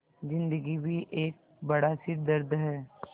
ज़िन्दगी भी एक बड़ा सिरदर्द है